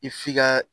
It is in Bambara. I f'i ka